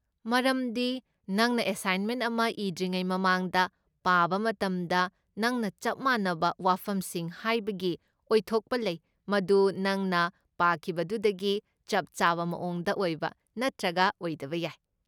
ꯃꯔꯝꯗꯤ ꯅꯪꯅ ꯑꯦꯁꯥꯏꯟꯃꯦꯟ ꯑꯃ ꯏꯗ꯭ꯔꯤꯉꯩ ꯃꯃꯥꯡꯗ ꯄꯥꯕ ꯃꯇꯝꯗ, ꯅꯪꯅ ꯆꯞ ꯃꯥꯟꯅꯕ ꯋꯥꯐꯝꯁꯤꯡ ꯍꯥꯏꯕꯒꯤ ꯑꯣꯏꯊꯣꯛꯄ ꯂꯩ, ꯃꯗꯨ ꯅꯪꯅ ꯄꯥꯈꯤꯕꯗꯨꯗꯒꯤ ꯆꯞ ꯆꯥꯕ ꯃꯑꯣꯡꯗ ꯑꯣꯏꯕ ꯅꯠꯇ꯭ꯔꯒ ꯑꯣꯏꯗꯕ ꯌꯥꯏ꯫